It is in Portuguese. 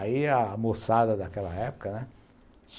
Aí a moçada daquela época, né?